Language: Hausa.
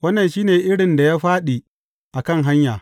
Wannan shi ne irin da ya fāɗi a kan hanya.